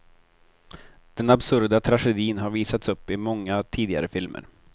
Den absurda tragedin har visats upp i många tidigare filmer.